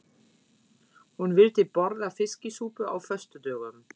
Hún vildi borða fiskisúpu á föstudögum.